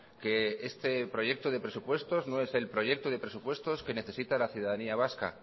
que este proyecto de presupuestos no es el proyecto de presupuestos que necesita la ciudadanía vasca